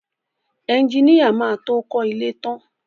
Ẹjiníà má tó kọ ilé ẹ tán.